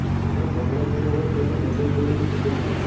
જેને કમળો થયો હોય તેને બધું પીળું જ દેખાય